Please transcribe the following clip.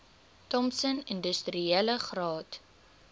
thompson industriele graad